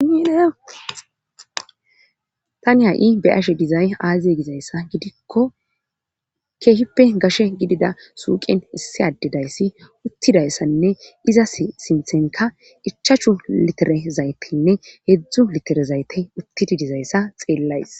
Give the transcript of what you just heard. Ietani ha7i be ashe dizay aaziye gizayssa gidikko keehippe gashe gidida suuqen issi addedayssi uttidayssanne iza sinthenka ichachu litere zaytenne heedzdzu litere zayte uttidi dizayssa xeellays